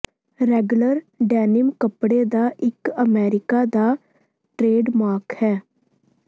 Wrangler denim ਕੱਪੜੇ ਦਾ ਇੱਕ ਅਮੇਰੀਕਾ ਦਾ ਟ੍ਰੇਡਮਾਰਕ ਹੈ